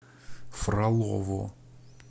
фролово